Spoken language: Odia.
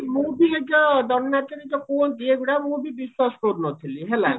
ମୁଁ ବି ଏଇ ଯୋ ଦଣ୍ଡ ନାଚer ଯୋଉ କୁହନ୍ତି ଏଗୁଡା ମୁଁ ବି ବିଶ୍ଵାସ କରୁନଥିଲି ହେଲା